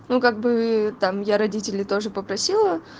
ну как бы там я родителей тоже попросила